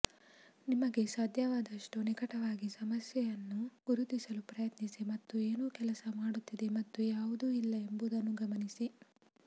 ನಿಮಗೆ ಸಾಧ್ಯವಾದಷ್ಟು ನಿಕಟವಾಗಿ ಸಮಸ್ಯೆಯನ್ನು ಗುರುತಿಸಲು ಪ್ರಯತ್ನಿಸಿ ಮತ್ತು ಏನು ಕೆಲಸ ಮಾಡುತ್ತಿದೆ ಮತ್ತು ಯಾವುದು ಇಲ್ಲ ಎಂಬುದನ್ನು ಗಮನಿಸಿ